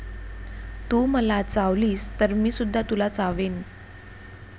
तू मला चावलीस तर मीसुद्धा तुला चावेन.